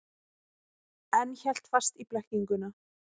En hélt fast í blekkinguna.